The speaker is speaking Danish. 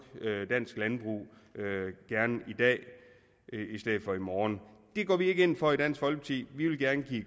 dansk landbrug gerne i dag i stedet for i morgen det går vi ikke ind for i dansk folkeparti vi vil gerne give